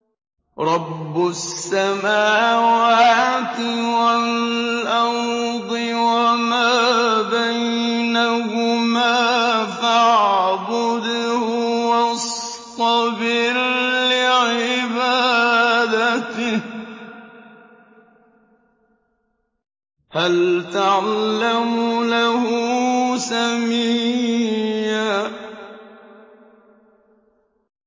رَّبُّ السَّمَاوَاتِ وَالْأَرْضِ وَمَا بَيْنَهُمَا فَاعْبُدْهُ وَاصْطَبِرْ لِعِبَادَتِهِ ۚ هَلْ تَعْلَمُ لَهُ سَمِيًّا